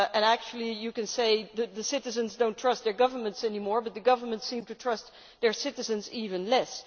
Actually you can say that the citizens do not trust their governments anymore, but the governments seem to trust their citizens even less.